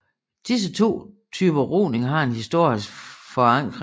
Disse to typer roning har en historisk forankring